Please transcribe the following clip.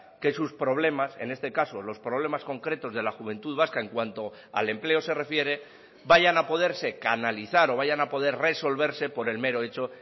que sus problemas en este caso los problemas concretos de la juventud vasca en cuanto al empleo se refiere vayan a poderse canalizar o vayan a poder resolverse por el mero hecho